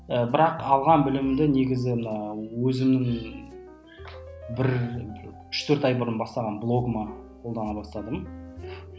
бірақ алған білімімді негізі мына өзімнің бір үш төрт ай бұрын бастаған блогыма қолдана бастадым